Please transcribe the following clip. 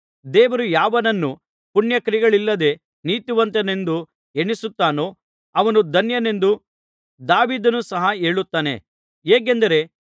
ದೇವರು ಯಾವನನ್ನು ಪುಣ್ಯಕ್ರಿಯೆಗಳಿಲ್ಲದೆ ನೀತಿವಂತನೆಂದು ಎಣಿಸುತ್ತಾನೋ ಅವನು ಧನ್ಯನೆಂದು ದಾವೀದನು ಸಹ ಹೇಳುತ್ತಾನೆ ಹೇಗೆಂದರೆ